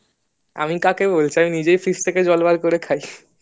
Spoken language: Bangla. আমি কাকে বলছি আমি নিজেওই fridge থেকে জল বার করে খাই